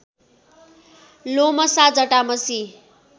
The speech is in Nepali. लोमशा जटामशी